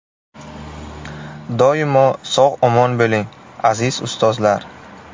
Doimo sog‘-omon bo‘ling, aziz ustozlar!